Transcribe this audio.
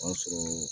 O y'a sɔrɔ